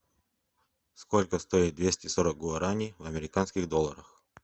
сколько стоит двести сорок гуарани в американских долларах